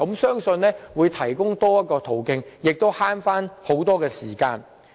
相信這樣會提供多一個途徑，亦更省時。